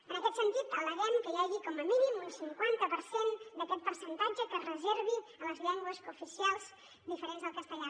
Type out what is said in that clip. en aquest sen·tit al·leguem que hi hagi com a mínim un cinquanta per cent d’aquest percentatge que es reservi a les llengües cooficials diferents del castellà